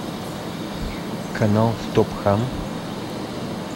канал стоп хам